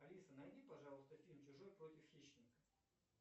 алиса найди пожалуйста фильм чужой против хищника